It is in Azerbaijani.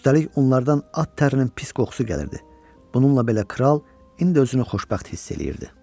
Üstəlik onlardan at tərinin pis qoxusu gəlirdi, bununla belə kral indi özünü xoşbəxt hiss eləyirdi.